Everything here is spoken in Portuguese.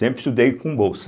Sempre estudei com bolsa.